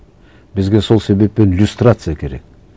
бізге сол себеппен люстрация керек